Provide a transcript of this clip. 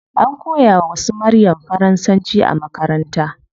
An koya wa su maryam faransanci a makaranta